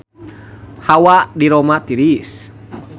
Hawa di Roma tiris